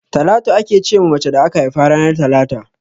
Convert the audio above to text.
Talatu ake ce ma mace da aka haifa ranar talata.